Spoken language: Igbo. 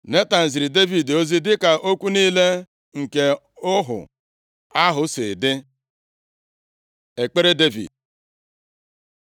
Netan ziri Devid ozi dịka okwu niile nke ọhụ ahụ si dị. Ekpere Devid